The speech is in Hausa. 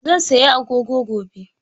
Zan saya agogo gobe